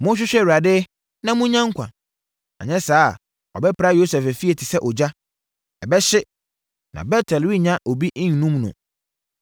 Monhwehwɛ Awurade na monnya nkwa, anyɛ saa a ɔbɛpra Yosef efie te sɛ ogya; ɛbɛhye, na Bet-El rennya obi nnum no.